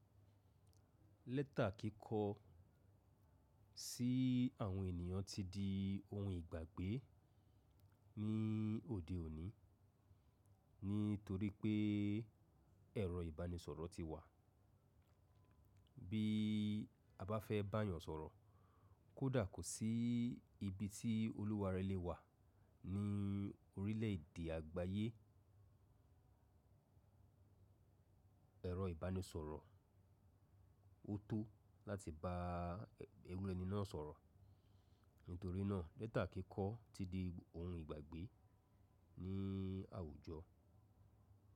Lẹ́tà kíkọ sí àwọn ènìyàn ti di oun ìgbàgbé ní òde òní nítorí pé ẹ̀rọ ìbánisọ̀rọ̀ ti wà. Bí a bá fẹ́ bá yan sọ̀rọ̀, kódà kò sí ibi tí olúware lè wà ní orílẹ̀dè àgbáyé, ẹ̀rọ ìbánisọ̀rọ̀ ó tó láti bá irú ẹni náà sọ̀rọ̀. Nítorí náà lẹ́tà kíkọ́ ti di oun ìgbàgbé ní àwùjọ.